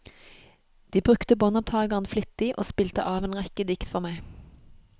De brukte båndopptageren flittig, og spilte av en rekke dikt for meg.